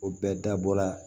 O bɛɛ dabɔ la